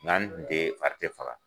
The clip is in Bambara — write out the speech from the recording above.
de fari tɛ faga.